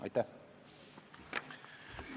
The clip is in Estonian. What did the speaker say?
Aitäh!